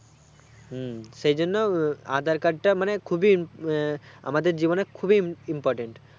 হু সেই জন্য aadhar card টা মানে খুবইআহ আমাদের জীবনে খুবই important